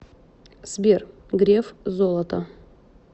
сбер греф золото